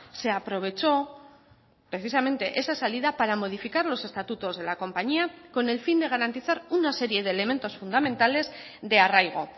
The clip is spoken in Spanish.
se aprovechó precisamente esa salida para modificar los estatutos de la compañía con el fin de garantizar una serie de elementos fundamentales de arraigo